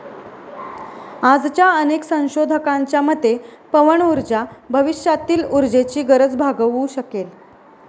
आजच्या अनेक संशोधकांच्या मते, पवनऊर्जा भविष्यातील ऊर्जेची गरज भागवू शकेल.